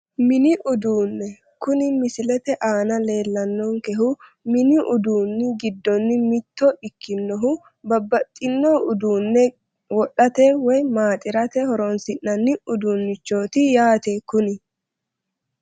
Mini uduunne kuni misilete aana leellannonkehhu mini uduunni giddonni mitto ikkinohu babbaxxino uduunne wodhate woyi maaxirate horonsi'nanni uduunnichooti yaate kuni